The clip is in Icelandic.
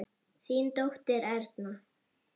Þín dóttir, Erna.